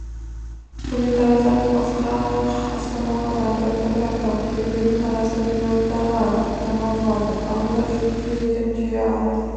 көне тараздан асқақ астанаға тарту этнографиялық керуені тараздан елордаға аттанған болатын құрамында жүк тиелген түйе ат